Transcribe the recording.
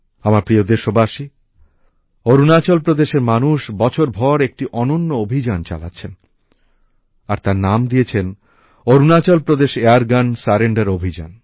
আমার প্রিয় দেশবাসী অরুণাচল প্রদেশের মানুষ বছর ভর একটি অনন্য অভিযান চালাচ্ছেন আর তার নাম দিয়েছেন অরুণাচলপ্রদেশ এয়ারগান সারেন্ডার অভিযান